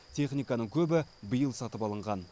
техниканың көбі биыл сатып алынған